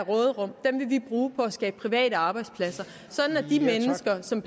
vil vi bruge på at skabe private arbejdspladser så de mennesker som